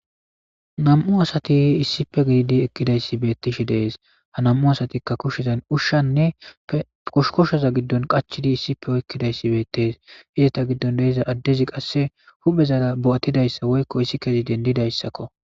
nam7u asati issipe gididi ekkidayssi beettishi dees ha nam7u asatikka kushedan ushshanne oshkoshoza giddon qachidi issipe oyekkidayssi beettees hizeta giddon deeza addezi qasse huphezara bo7atidayssa woykko issi kezi dendidayssakko